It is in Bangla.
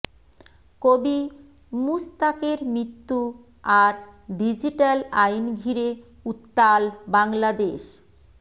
কবি মুশতাকের মৃত্যু আর ডিজিটাল আইন ঘিরে উত্তাল বাংলাদেশ